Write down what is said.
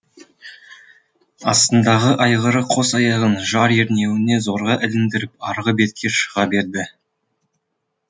астындағы айғыры қос аяғын жар ернеуіне зорға іліндіріп арғы бетке шыға берді